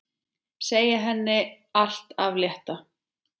Segja henni allt af létta.